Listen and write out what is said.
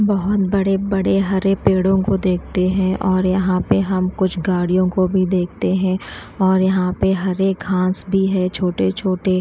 बहुत बड़े बड़े हरे पेड़ों को देखते हैं और यहां पे हम कुछ गाड़ियों को भी देखते हैं और यहां पे हरे घास भी है छोटे छोटे।